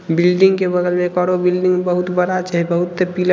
Building के बगल में एक आरो बिल्डिंग बहुत बड़ा छै। बहुते पीला--